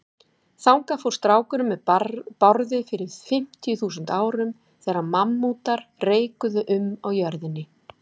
Þangað fór strákurinn með Bárði fyrir fimmtíu þúsund árum, þegar mammútar reikuðu um á jörðinni.